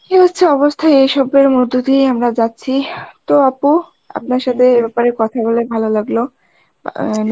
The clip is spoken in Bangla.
এই হচ্ছে অবস্থা এইসবের মধ্যে দিয়েই আমরা যাচ্ছি তো আপু, আপনার সাথে এ ব্যাপারে কথা বলে ভালো লাগলো অ্যাঁ